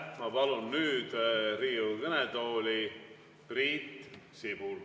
Ma palun nüüd Riigikogu kõnetooli Priit Sibula.